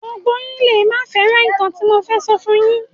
Gbogbo yín lẹ máa fẹ́ràn ìtàn tí mo fẹ́ sọ fun yín.